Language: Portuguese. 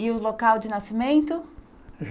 E o local de nascimento?